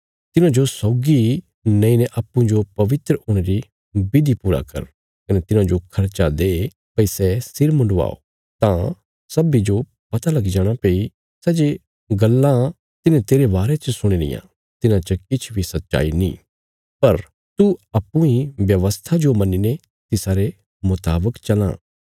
तिन्हांजो सौगी नेईने अप्पूँजो पवित्र हुणे री विधि पूरा कर कने तिन्हांजो खर्चा दे भई सै सिर मुंडवाओ तां सब्बीं जो पता लगी जाणा भई सै जे गल्लां तिन्हें तेरे बारे च सुणी रियां तिन्हां च किछ बी सच्चाई नीं पर तू अप्पूँ इ व्यवस्था जो मन्नीने तिसारे मुतावक चलां